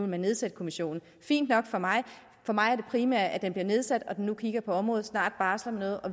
man nedsætte kommissionen fint nok for mig for mig er det primære at den blev nedsat at den nu kigger på området og snart barsler med